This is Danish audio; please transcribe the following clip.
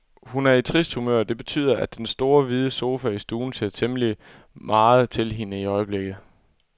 Hun er i trist humør, det betyder, at den store, hvide sofa i stuen ser temmelig meget til hende i øjeblikket.